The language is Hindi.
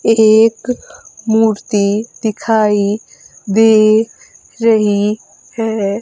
एक मूर्ति दिखाई दे रही है।